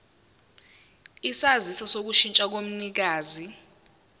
isaziso sokushintsha komnikazi